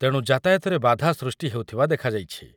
ତେଣୁ ଯାତାୟତରେ ବାଧା ସୃଷ୍ଟି ହେଉଥିବା ଦେଖାଯାଇଛି ।